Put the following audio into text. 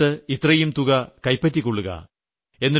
നിങ്ങൾ ഇത്രയും തുക തന്നിട്ട് ഇത്രയും രൂപ സമ്മാനമായി ലഭിച്ചിരിക്കുന്നു